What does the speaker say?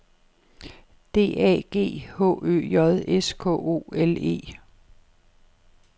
D A G H Ø J S K O L E